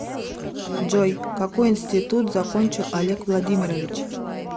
джой какой институт закончил олег владимирович